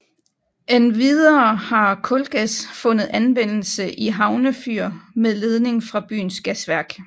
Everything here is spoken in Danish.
Endvidere har kulgas fundet anvendelse i havnefyr med ledning fra byens gasværk